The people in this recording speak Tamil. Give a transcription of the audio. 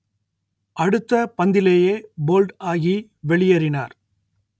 அடுத்த பந்திலேயே போல்ட் ஆகி வெளியேறினார்